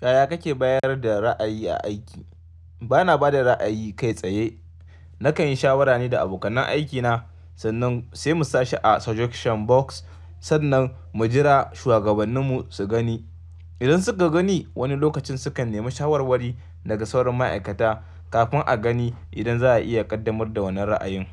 Yaya kake bayar da ra'ayi a aiki? Bana ba da ra'ayi kai tsaye. Nakan yi shawarani da abokan aikina sannan sai mu sa shi a suggestion box sannan mu jira shuwagabanninmu su gani. Idan suka gani wani lokacin sukan nemi shawarwari daga sauran ma'aikata kafin a gani idan za a iya ƙaddamar da wannan ra'ayin.